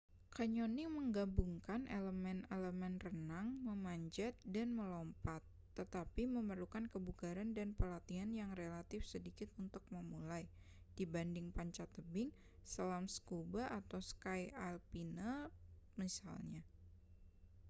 canyoning menggabungkan elemen-elemen renang memanjat dan melompat--tetapi memerlukan kebugaran dan pelatihan yang relatif sedikit untuk memulai dibanding panjat tebing selam scuba atau ski alpine misalnya